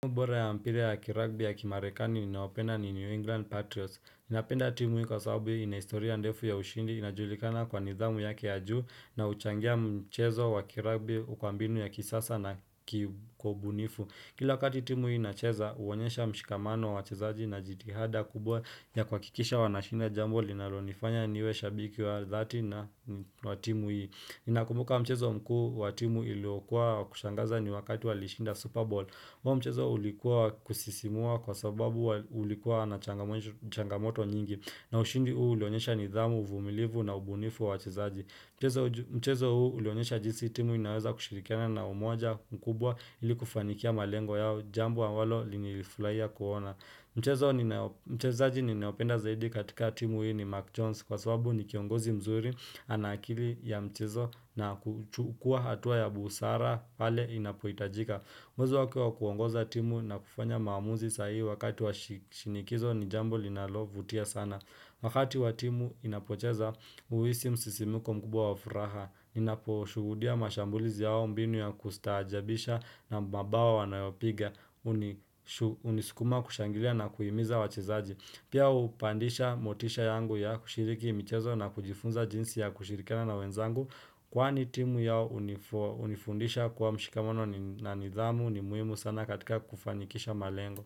Bora ya mpira ya kiragbi ya kimarekani ninayoipenda ni New England Patriots. Napenda timu hii kwa sababu ina historia ndefu ya ushindi, inajulikana kwa nidhamu yake ya juu na uchangia mchezo wa kiragbi kwa mbinu ya kisasa na kiubunifu. Kila wakati timu hii inacheza, huonyesha mshikamano wa wachezaji na jitihada kubwa ya kwa kikisha wanashinda jambo linalonifanya niweshabiki wa dhati na watimu hii. Nakumbuka mchezo mkuu wa timu iliokua wa kushangaza ni wakati walishinda Super Bowl. Huo mchezo ulikuwa kusisimua kwa sababu ulikuwa na changamoto nyingi na ushindi huu ilionyesha nidhamu, uvumilivu na ubunifu wa wachezaji. Mchezo huu ilionyesha jinsi timu inaweza kushirikiana na umoja mkubwa ili kufanikia malengo yao jambo ambalo nilifurahia kuona. Mchezo ninao mchezaji ninaopenda zaidi katika timu hii ni Mark Jones kwa sababu ni kiongozi mzuri ana akili ya mchezo na huchukua hatua ya busara pale inapohitajika. Uwezo wako kuongoza timu na kufanya maamuzi sahi wakati wa shinikizo ni jambo linalo vutia sana. Wakati wa timu inapocheza huisi msisimuko mkubwa wafuraha, ninaposhuhudia mashambulizi yao mbinu ya kustajabisha na mabao wanayopiga, unisukuma kushangilia na kuhimiza wachezaji. Pia hupandisha motisha yangu ya kushiriki michezo na kujifunza jinsi ya kushirikana na wenzangu kwaani timu yao hunifundisha kwa mshikamono na nidhamu ni muhimu sana katika kufanikisha malengo.